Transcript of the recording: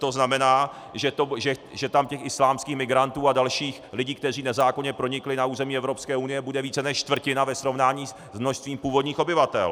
To znamená, že tam těch islámských migrantů a dalších lidí, kteří nezákonně pronikli na území Evropské unie, bude více než čtvrtina ve srovnání s množstvím původních obyvatel.